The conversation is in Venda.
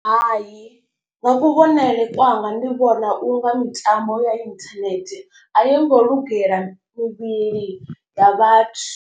Hai nga kuvhonele kwanga ndi vhona u nga mitambo ya internet a yi ngo lugela mivhili ya vhathu.